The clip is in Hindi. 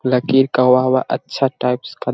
लकीर का वहाँ-वहाँअच्छा टाइप्स का --